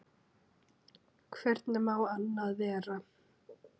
Hvernig má annað vera?